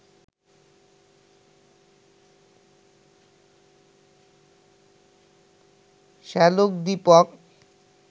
শ্যালক Dipak